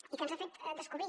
i ens ha fet descobrir